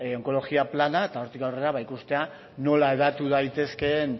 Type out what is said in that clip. onkologia plana eta hortik aurrera ikustea nola hedatu daitezkeen